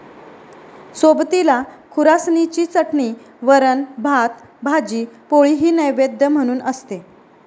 सोबतीला खुरासणीची चटणी, वरण, भात, भाजी पोळीही नैवेद्य म्हणून असते.